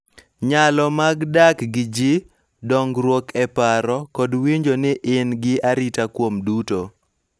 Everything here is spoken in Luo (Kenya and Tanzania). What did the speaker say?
Nyalo mag dak gi ji, dongruok e paro, kod winjo ni in gi arita kuom duto.